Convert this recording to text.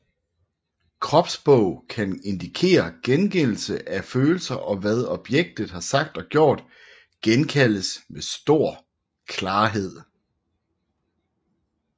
Kropssprog kan indikere gengældelse af følelser og hvad objektet har sagt og gjort genkaldes med stor klarhed